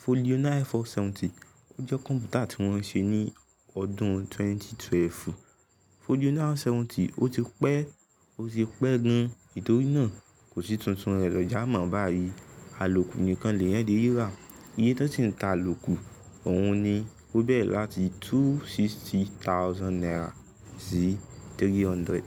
Folio nine four seventy, ó jẹ́ kọ̀m̀pútà tí wọ́n ṣe ní ọdún twenty twelve. Folio nine four seventy ó ti pẹ́, ó ti pẹ́ gan. Nítorí náà kò sí tuntun rẹ̀ lọ́já mọ́ báyìí. Àlòkù nìkan lè yẹn le ri rà. Iye tó ti ń ta àlòkù ọ̀hún ni ó bẹ̀rẹ láti two sixty thousand naira sí three hundred.